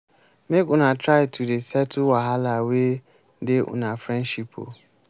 make una try to dey settle wahala wey dey una friendship o.